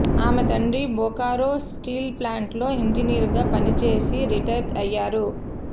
ఆమె తండ్రి బొకారో స్టీల్ ప్లాంట్లో ఇంజనీర్గా పనిచేసి రిటైర్ అయ్యారు